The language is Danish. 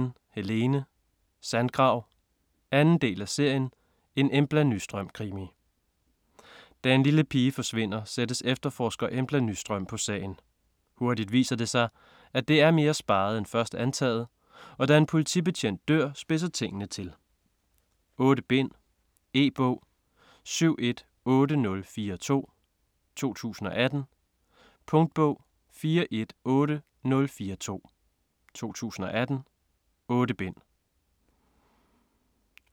Tursten, Helene: Sandgrav 2. del af serien En Embla Nyström krimi. Da en lille pige forsvinder, sættes efterforsker Embla Nyström på sagen. Hurtigt viser det sig, at det er mere speget end først antaget, og da en politibetjent dør, spidse tingene til. 8 bind. E-bog 718042 2018. Punktbog 418042 2018. 8 bind.